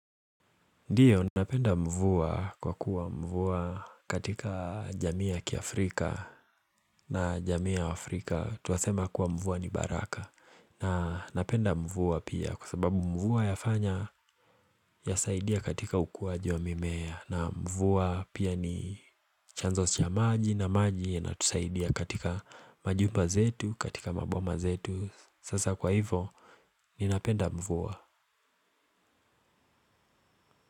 Ndiyo, napenda mvua kwa kuwa mvua katika jamii ya Kiafrika na jamii ya Afrika Tuwasema kuwa mvua ni baraka na napenda mvua pia kwa sababu mvua yafanya ya saidia katika ukuaji wa mimea na mvua pia ni chanzo cha maji na maji yanatusaidia katika majumba zetu, katika maboma zetu Sasa kwa hivo, ni napenda mvua.